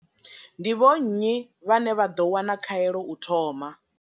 Ndi vho nnyi vhane vha ḓo wana khaelo u thoma?